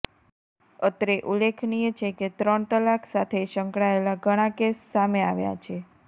અત્રે ઉલ્લેખનીય છે કે ત્રણ તલાક સાથે સંકળાયેલા ઘણા કેસ સામે આવ્યા છે